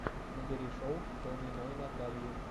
набери шоу калниной натальи